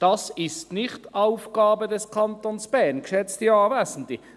Das ist nicht Aufgabe des Kantons Bern, geschätzte Anwesende.